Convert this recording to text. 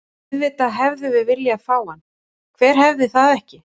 Auðvitað hefðum við viljað fá hann, hver hefði það ekki?